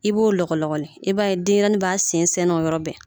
I b'o lɔgɔlɔgɔli i b'a ye denyɛrɛni b'a sen sɛɛnɛ o yɔrɔ bɛɛ